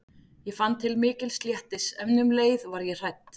Ég fann til mikils léttis en um leið var ég hrædd.